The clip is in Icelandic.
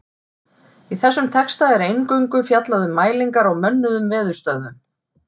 Í þessum texta er eingöngu fjallað um mælingar á mönnuðum veðurstöðvum.